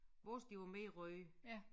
Vores de var mere røde